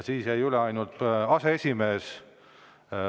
Siis jäi üle ainult aseesimees.